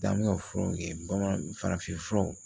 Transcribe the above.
Dan bɛ ka furaw kɛ bamanan farafin furaw